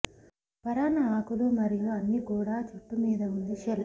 పరాన్న ఆకులు మరియు అన్ని కూడా జుట్టు మీద ఉంది షెల్